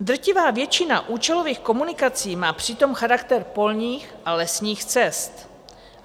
Drtivá většina účelových komunikací má přitom charakter polních a lesních cest.